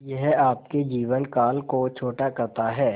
यह आपके जीवन काल को छोटा करता है